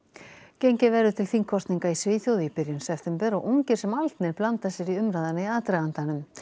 gengið verður til þingkosninga í Svíþjóð í byrjun september og ungir sem aldnir blanda sér í umræðuna í aðdragandanum